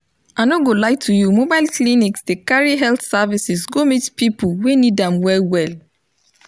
i no go lie to you mobile clinics dey carry health services go meet people wey need am well well